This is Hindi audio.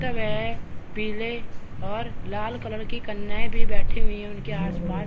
त गया हैं पीले और लाल कलर की कन्याये भी बैठी हुई है उनके आसपास--